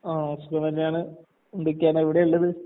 ആഹ് സുഖം തന്നേണ്. എന്തൊക്കെയാണ് എവിടെ ഇള്ളത്?